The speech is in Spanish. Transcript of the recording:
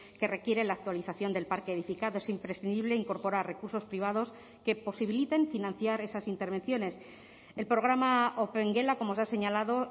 que requiere la actualización del parque edificado es imprescindible incorporar recursos privados que posibiliten financiar esas intervenciones el programa opengela como se ha señalado